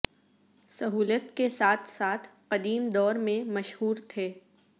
سہولت کے ساتھ ساتھ قدیم دور میں مشہور تھے